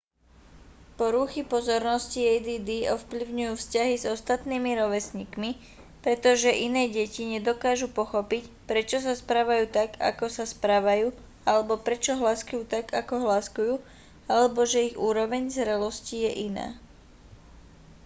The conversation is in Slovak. poruchy pozornosti add ovplyvňujú vzťahy s ostatnými rovesníkmi pretože iné deti nedokážu pochopiť prečo sa správajú tak ako sa správajú alebo prečo hláskujú tak ako hláskujú alebo že ich úroveň zrelosti je iná